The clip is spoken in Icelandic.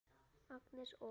Agnes og